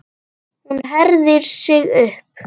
En hún herðir sig upp.